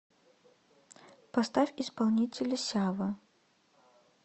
поставь исполнителя сява